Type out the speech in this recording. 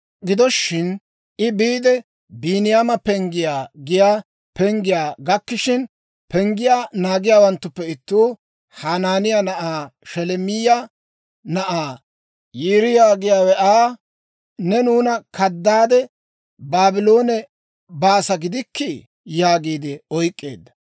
Gido shin, I biide, Biiniyaama Penggiyaa giyaa penggiyaa gakkishina, penggiyaa naagiyaawanttuppe ittuu, Hanaaniyaa na'aa Sheleemiyaa na'ay, Yiiriyaa giyaawe Aa, «Ne nuuna kadaade Baabloone baasa gidikkii?» yaagiide oyk'k'eedda.